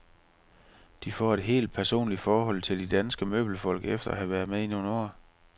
De får et helt personligt forhold til de danske møbelfolk, efter at have været med i nogle år.